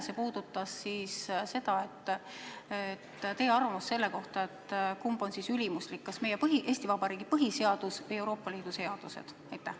See puudutas teie arvamust selle kohta, kumb on ülimuslik: kas meie, Eesti Vabariigi põhiseadus, või Euroopa Liidu seadused?